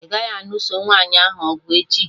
Ị gaghị anụso nwaanyị ahụ ọgụ echi!